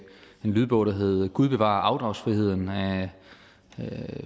en lydbog der hedder gud bevare afdragsfriheden af